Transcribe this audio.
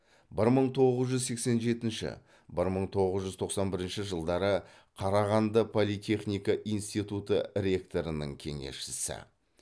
бір мың тоғыз жүз сексен жетінші бір мың тоғыз жүз тоқсан бірінші жылдары қарағанды политехника институты ректорының кеңесшісі